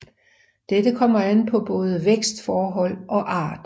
Dette kommer an på både vækstforhold og art